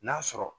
N'a sɔrɔ